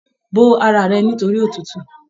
Bò ara rẹ̀ nitori òtútù m